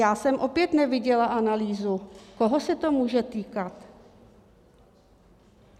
Já jsem opět neviděla analýzu, koho se to může týkat.